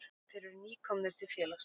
Þeir eru nýkomnir til félagsins.